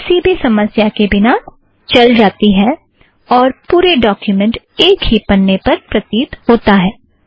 यह अब किसी भी समस्या के बिना चल जाती है और पुरा डॉक्युमेंट एक ही पन्ने पर प्रतीत होता है